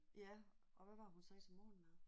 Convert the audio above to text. Ja og hvad var det hun sagde til morgenmad